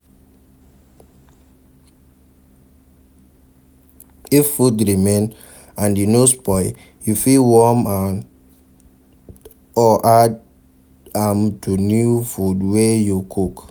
If food remain and e no spoil, you fit warn am or add am to new food wey you cook